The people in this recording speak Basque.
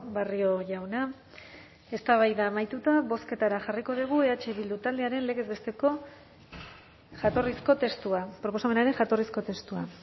barrio jauna eztabaida amaituta bozketara jarriko dugu eh bildu taldearen legez besteko jatorrizko testua proposamenaren jatorrizko testua